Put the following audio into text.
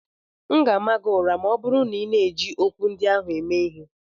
M ga ama gị ụra ma ọ bụrụ na ị na-eji ọgwụ ndị ahụ eme ihe!